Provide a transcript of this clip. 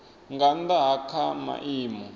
nga nnda ha kha maimo